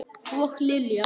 Og Lilja!